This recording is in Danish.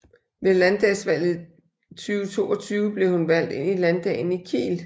Ved landdagsvalget 2022 blev hun valgt ind i Landdagen i Kiel